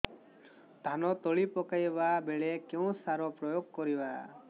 ଧାନ ତଳି ପକାଇବା ବେଳେ କେଉଁ ସାର ପ୍ରୟୋଗ କରିବା